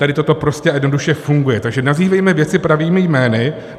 Tady toto prostě a jednoduše funguje, takže nazývejme věci pravými jmény.